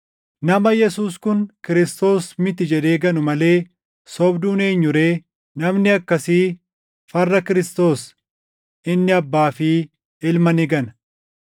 Nama Yesuus kun Kiristoos miti jedhee ganu malee sobduun eenyu ree? Namni akkasii farra Kiristoos; inni Abbaa fi Ilma ni gana.